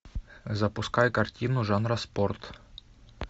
запускай картину жанра спорт